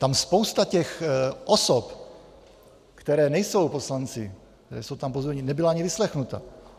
Tam spousta těch osob, které nejsou poslanci, nebyla ani vyslechnuta.